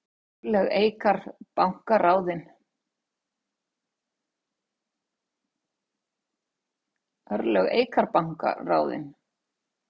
Örlög Eikar banka ráðin